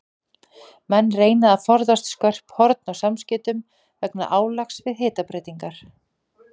Menn reyna að forðast skörp horn á samskeytum vegna álags við hitabreytingar.